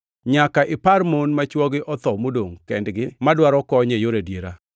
Nyaka ipar mon ma chwogi otho modongʼ kendgi madwaro kony e yor adiera.